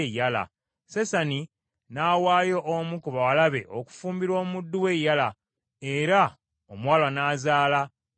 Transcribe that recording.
Sesani n’awaayo omu ku bawala be okufuumbirwa omuddu we Yala, era omuwala n’azaala Attayi.